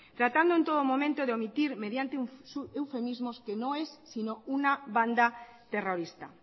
tratando en todo momento de omitir mediante eufemismos que no es sino una banda terrorista